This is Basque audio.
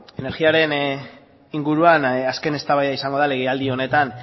energiaren inguruan azken eztabaida izango da legealdi honetan